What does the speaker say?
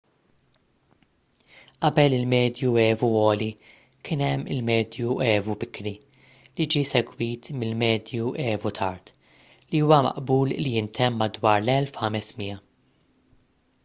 qabel il-medju evu għoli kien hemm il-medju evu bikri li ġie segwit mill-medju evu tard li huwa maqbul li ntemm madwar l-1500